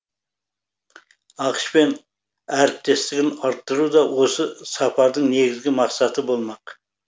ақш пен әріптестігін арттыру да осы сапардың негізгі мақсаты болмақ